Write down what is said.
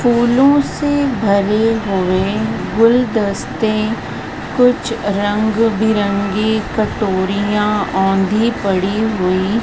फूलों से भरे हुए गुलदस्ते कुछ रंग-बिरंगी कटोरियां औंधी पड़ी हुई --